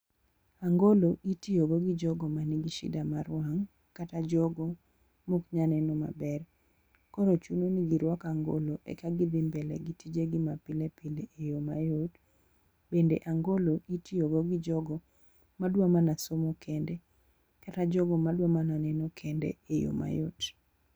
angolo itiyo go gi jogo man gi shida mar wang' kata jogo mok nyal neno maber ,koro chuno gi giruak angolo eka gidhi mbele gi tije gi ma pilepile e yo mayor, bende angolo itiyo go gi jogo madwa mana somo kende kata jogo madwa mana neno kende e yo mayot.